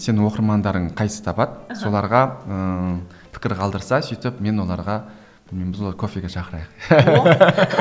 сен оқырмандарың қайсысы табады соларға ыыы пікір қалдырса сөйтіп мен оларға кофеге шақырайық